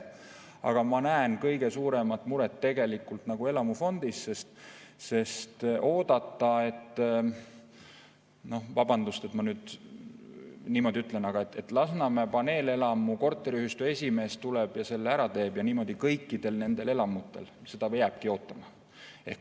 Aga ma näen kõige suuremat muret tegelikult elamufondis, sest oodata, et – vabandust, et ma nüüd niimoodi ütlen – Lasnamäe paneelelamu korteriühistu esimees tuleb ja selle ära teeb, ja niimoodi kõikidel nendel elamutel – seda jäämegi ootama.